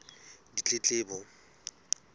ditletlebo